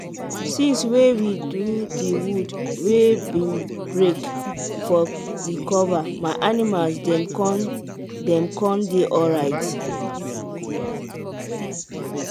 since wey we do the wood wey been break for the cover my animals dem con dem con dey alright.